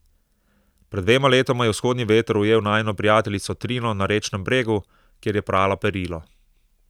Pred dvema letoma je vzhodni veter ujel najino prijateljico Trino na rečnem bregu, kjer je prala perilo.